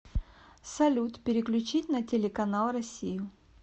салют переключить на телеканал россию